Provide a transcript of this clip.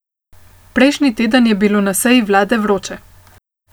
Prejšnji teden je bilo na seji vlade vroče.